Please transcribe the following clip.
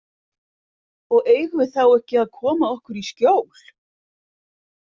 Og eigum við þá ekki að koma okkur í skjól?